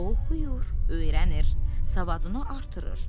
O oxuyur, öyrənir, savadını artırır.